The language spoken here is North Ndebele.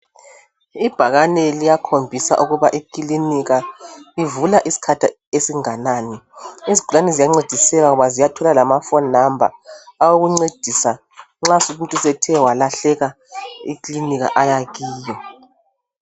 Ibhakane liyakhombisa ukuba ikilinika ivula isikhathi esinganani izigulani ziyancediseka ngoba ziyathola lamafoni namba awokuncedisa nxa umuntu sethe walahleka ikilinika aya kiyo .